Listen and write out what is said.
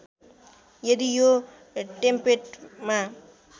यदि यो टेम्पेटमा